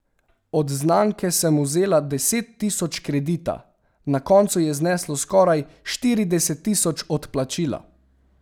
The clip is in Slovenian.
Od znanke sem vzela deset tisoč kredita, na koncu je zneslo skoraj štirideset tisoč odplačila.